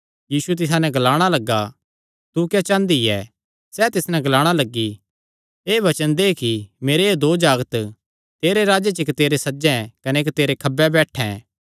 यीशु तिसा नैं ग्लाणा लग्गा तू क्या चांह़दी ऐ सैह़ तिस नैं ग्लाणा लग्गी एह़ वचन दे कि मेरे एह़ दो जागत तेरे राज्जे च इक्क तेरे सज्जे कने इक्क तेरे खब्बे बैठैं